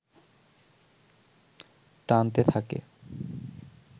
টানতে থাকে